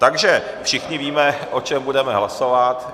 Takže všichni víme, o čem budeme hlasovat.